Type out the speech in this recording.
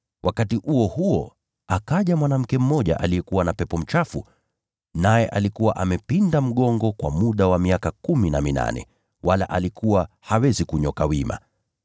Wakati huo huo akaja mwanamke mmoja aliyekuwa na pepo mchafu, naye alikuwa amepinda mgongo kwa muda wa miaka kumi na minane, wala alikuwa hawezi kunyooka wima.